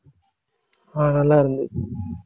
ஆஹ் நல்லா இருந்துச்சு.